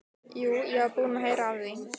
Jú, ég var búinn að heyra af því.